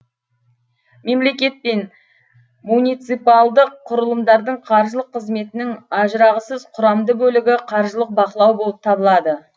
мемлекет пен муниципалдық кұрылымдардың қаржылык қызметінің ажырағысыз кұрамды бөлігі каржылық бақылау болып табылады